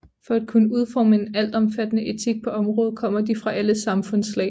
For at kunne udforme en altomfattende etik på området kommer de fra alle samfundslag